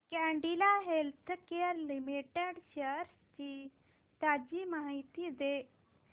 Cadila healthcare limited shares ची ताजी माहिती दे